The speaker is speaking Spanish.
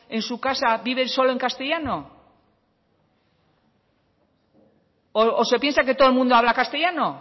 en su casa viven solo en castellano o se piensa que todo el mundo habla castellano